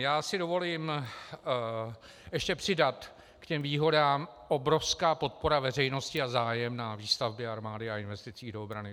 Já si dovolím ještě přidat k těm výhodám - obrovská podpora veřejnosti a zájem na výstavbě armády a investicích do obrany.